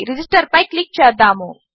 register పై click చేద్దాము